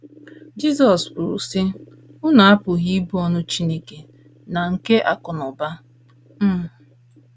Jizọs kwuru, sị: “ Unu apụghị ịbụ ohu Chineke na nke Akụ̀ na Ụba. um ”